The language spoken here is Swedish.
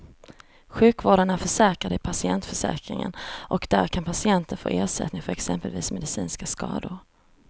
Sjukvården är försäkrad i patientförsäkringen och där kan patienten få ersättning för exempelvis medicinska skador.